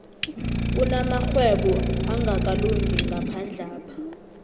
kunamarhwebo angakalungi ngaphandlapha